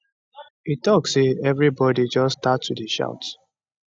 e tok say evribodi just start to dey shout